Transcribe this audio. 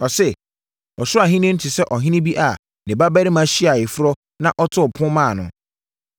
Ɔse, “Ɔsoro Ahennie no te sɛ ɔhene bi a ne babarima hyiaa ayeforɔ na ɔtoo pon maa no.